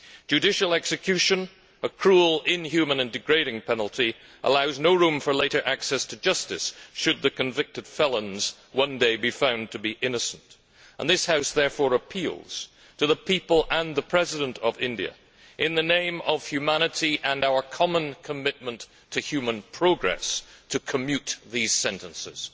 Judicial execution, which is a cruel, inhumane and degrading penalty, allows no room for later access to justice should the convicted felons one day be found to be innocent. This House therefore appeals to the people and the President of India, in the name of humanity and of our common commitment to human progress, to commute those sentences.